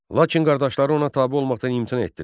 Lakin qardaşları ona tabe olmaqdan imtina etdilər.